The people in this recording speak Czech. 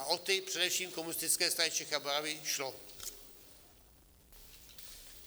A o ty především Komunistické straně Čech a Moravy šlo.